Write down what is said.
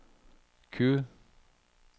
Q